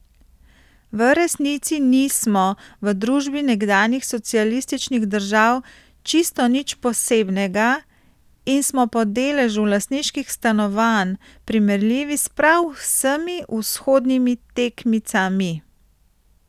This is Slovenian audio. V resnici nismo v družbi nekdanjih socialističnih držav čisto nič posebnega in smo po deležu lastniških stanovanj primerljivi s prav vsemi vzhodnimi tekmicami.